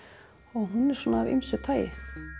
hún er af ýmsu tagi